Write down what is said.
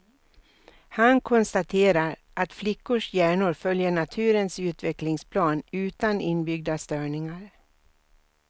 Han konstaterar att flickors hjärnor följer naturens utvecklingsplan utan inbyggda störningar.